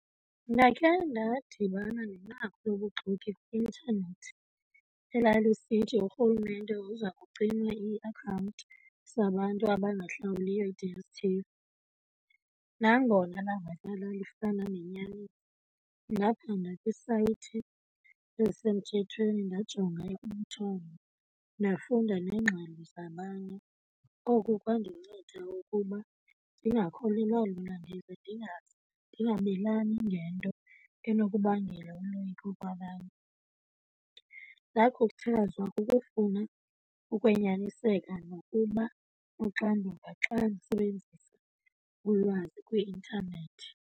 Ndakhe ndadibana nenqaku lobuxoki kwi-intanethi elalisithi urhulumente uza kucima iiakhawunti zabantu abangahlawuliyo i-D_S_t_v. Nangona lalifana nenyani, ndajonga kwisayithi esemthethweni, ndajonga umthombo, ndafunda neengxelo zabanye. Oku kwandinceda ukuba ndingakholelwa lula ndize ndingabelani ngento enokubangela uloyiko kwabanye. Ndakhuthazwa kukufuna ukwenyaniseka nokuba noxanduva xa ndisebenzisa ulwazi kwi-intanethi.